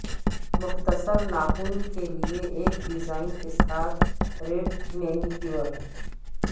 مختصر ناخن کے لئے ایک ڈیزائن کے ساتھ ریڈ مینیکیور